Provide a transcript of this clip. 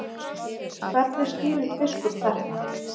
Hvernig skýrir biskup þetta?